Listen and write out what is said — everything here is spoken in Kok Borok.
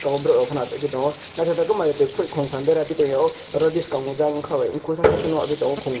oh borok haino achukgwi tongo naithotok khe maruti kuphui khungtham beraphi tongio oh biskango jang ongkha bai kusasa kheno nujakgwi tongo khungnwi.